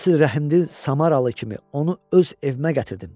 Əsl rəhmdil Samaralı kimi onu öz evimə gətirdim.